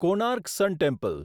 Konark sun temple